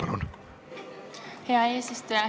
Aitäh, hea eesistuja!